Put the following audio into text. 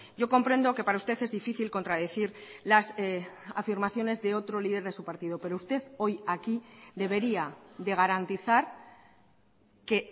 yo comprendo que para usted es difícil contradecir las afirmaciones de otro líder de su partido pero usted hoy aquí debería de garantizar que